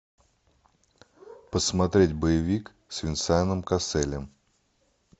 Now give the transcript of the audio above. посмотреть боевик с венсаном касселем